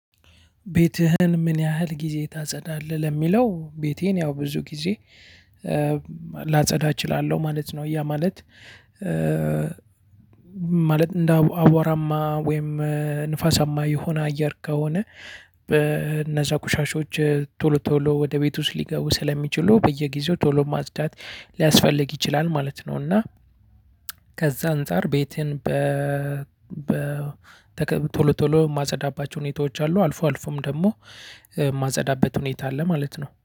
ቤትህን ምን ያህል ጊዜ ታጸዳለህ ለሚለው ቤቴን ያው ብዙ ጊዜ ላጸዳ እችላለሁ ማለት ነው። ያ ማለት ማለት እንደ አዋራማ ወይም ንፋሳማ የሆነ አየር ከሆነ በእነዛ ቆሻሾች ቶሎ ቶሎ ወደ ቤት ውስጥ ሊገቡ ስለሚችሉ በየጊዜው ቶሎ ማጽዳት ሊያስፈልግ ይችላል ማለት ነው። እና ከዛ አንፃር ቤቴን በ ቶሎ ቶሎ የማፀዳባቸው ሁኔታዎች አሉ። አልፎ አልፎም ደግሞ የማጸዳበት ሁኔታ አለ ማለት ነው።